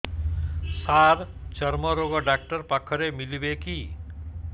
ସାର ଚର୍ମରୋଗ ଡକ୍ଟର ପାଖରେ ମିଳିବେ କି